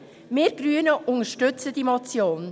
Wir Grüne unterstützen diese Motion.